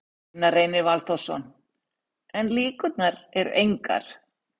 Gunnar Reynir Valþórsson: En líkurnar eru engar?